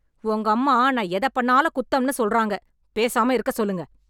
உங்க அம்மா நான் எதப் பண்ணாலும் குத்தம்னு சொல்றாங்க, பேசாம இருக்க சொல்லுங்க